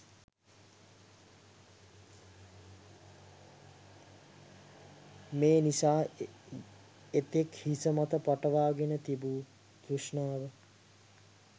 මේ නිසා එතෙක් හිසමත පටවාගෙන තිබූ තෘෂ්ණාව